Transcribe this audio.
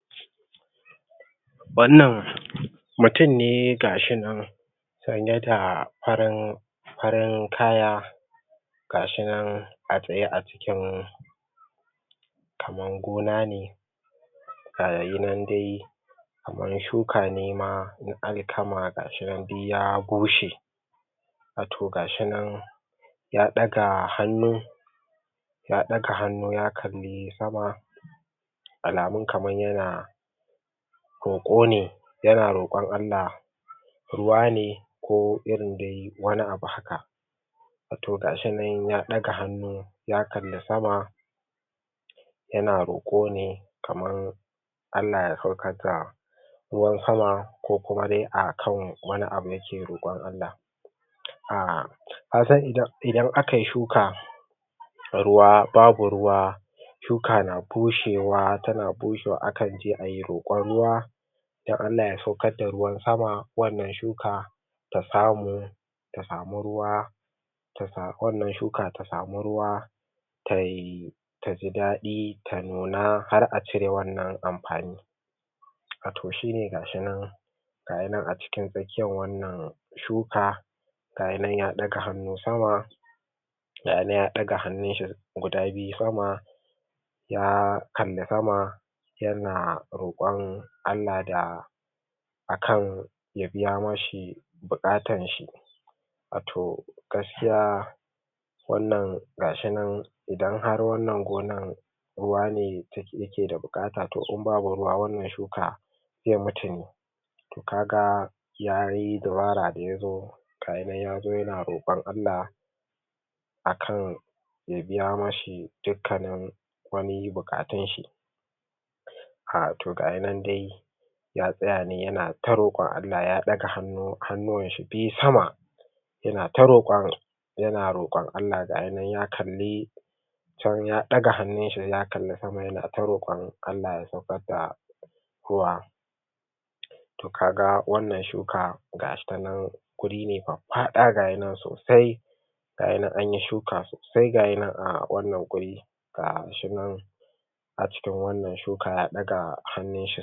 Wannan mutum ne gashi nan, mutum ne gashi nan sanye da farin farin kya, ga shi nan a tsaye a jikin kaman gona ne ga shi nan dai kaman shuka nema n alkama ga shi nan duk ya bushe, wato ga shi nan ya ɗaga hannu, ya ɗaga hannu ya kalli sama alamun kaman yana roƙone, yana roƙon Allah ruwa ne ko irin wani abu da haka wato ga shi nan ya ƙaga hannu ya kalli sama yana roƙo ne kamar Allah ya saukar da ruwan sama ko kuma dai akan wani abu yake rokon Allah, aahh kasan idan akai shuka, babu ruwa shuka na bushewa, akan je ayi roƙon ruwa, don Allah ya saukar da ruwan sama wannan shuka ta samu tasami ruwa, wannan shuka ta sami ruwa tai ta ji daɗi ta nuna, har a cire wannan amfani Wato shine ga shi nan gashinan a cikin tsakiyar wannan shuka gayi nan ya ɗaga hannu sama, gayi nan ya ɗaga hannun shi guda biyu sama, ya kalli sama, yana roƙon Allah da akan ya biya mashi buƙatanshi, wato gaskiya, wannan ga shi nan, idan har wannan gonar ruwa yake da buƙata, to in ba ruwa wannan shuka, zai mutune, kaga yayi dabara da ya zo gayi nan ya zo yna roƙon Allah akan, ya biya mashi dukannin wani buƙatunshi, a to gayi nan dai, ya ɗaga hannu, hannuwan shi sama, yana ta roƙon yana roƙon Allah, ga yi nan ya kalli, ya ɗaga hannunshi ya kalli sama yana ta roƙon Allah ya saukad da ruwa, to kaga wannan shuka ga shi nan wuri ne faffaɗa, ga shi nan wuri ne sosai gayi nan anyi shuka sosai, ga yi nan a wannan wuri ga shi nan a cikin wannan shuka ya ɗaga hannunshi.